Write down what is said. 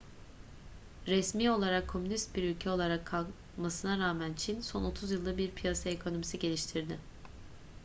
resmi olarak komünist bir ülke olarak kalmasına rağmen çin son otuz yılda bir piyasa ekonomisi geliştirdi